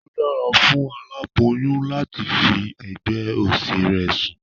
Ó dára fún aláboyún láti fi ẹ̀gbẹ́ òsì rẹ̀ sùn